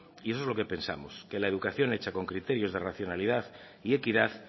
y eso es lo que pensamos que la educación hecha con criterios de racionalidad y equidad